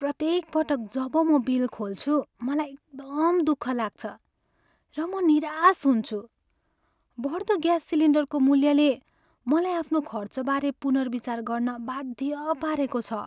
प्रत्येक पटक जब म बिल खोल्छु, मलाई एकदम दुःख लाग्छ र म निराश हुन्छु। बढ्दो ग्यास सिलिन्डरको मूल्यले मलाई आफ्नो खर्चबारे पुनर्विचार गर्न बाध्य पारेको छ।